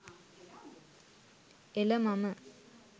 එළ මම